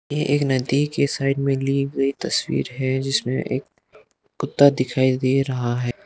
ये एक नदी के साइड में ली गई तस्वीर है जिसमें एक कुत्ता दिखाई दे रहा है।